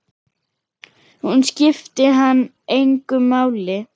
Hún skipti hann engu máli.